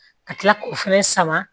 Ka tila k'o fɛnɛ sama